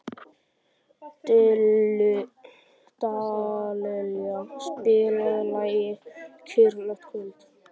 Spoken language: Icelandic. Dallilja, spilaðu lagið „Kyrrlátt kvöld“.